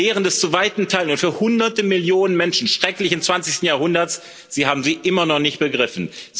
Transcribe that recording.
Die Lehren des zu weiten Teilen und für Hunderte Millionen Menschen schrecklichen 20. Jahrhunderts Sie haben sie immer noch nicht begriffen.